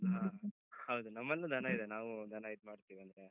ಹಾ ಹೌದು, ನಮ್ಮಲ್ಲೂ ದನ ಇದೆ. ನಾವು ದನ ಇದ್ ಮಾಡ್ತೇವಿ ಅಲ್ವಾ.